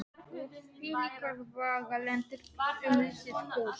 Og þvílíkar vegalengdir um lítið hús.